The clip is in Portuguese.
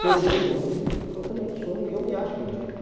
Ser humano é muito ridículo, eu também sou, eu me acho ridículo.